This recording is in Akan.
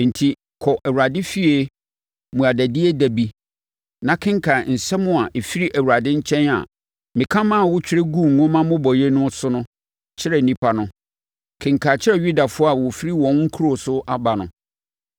Enti, kɔ Awurade efie mmuadadie da bi na kenkan nsɛm a ɛfiri Awurade nkyɛn a meka ma wotwerɛ guu nwoma mmobɔeɛ no so no kyerɛ nnipa no. Kenkan kyerɛ Yudafoɔ a wɔfiri wɔn nkuro so aba no.